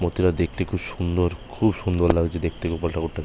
মূর্তিটা দেখতে খুব সুন্দর খুব সুন্দর লাগছে দেখতে গোপাল ঠাকুরটা।